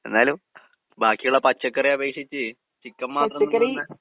എന്നാലും ബാക്കിയിള്ള പച്ചക്കറിയപേക്ഷിച്ച് ചിക്കൻ മാത്രം തിന്നുന്ന